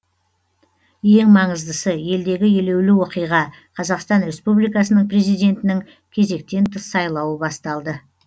ең маңыздысы елдегі елеулі оқиға қазақстан республикасының президентінің кезектен тыс сайлауы басталды